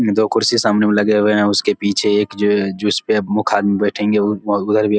दो कुर्सी सामने में लगे हुए हैं उसके पीछे एक जो है जिसपे मुख आदमी बैठेंगे व वो उधर भी --